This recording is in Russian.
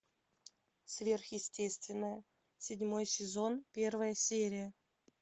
сверхъестественное седьмой сезон первая серия